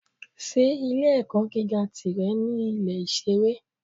Ṣé ilé-ẹ̀kọ́ gíga tìrẹ ní Ilé-ìṣeré?